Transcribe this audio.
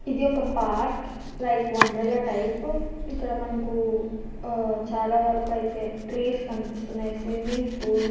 ఇది ఒక park like wonder Wonderla type . ఇక్కడ మనకు ఉహ్ వరకుకైతే ట్రీస్ కనిపిస్తున్నాయి. Swimming pool --